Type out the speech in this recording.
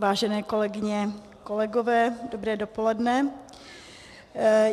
Vážené kolegyně, kolegové, dobré dopoledne.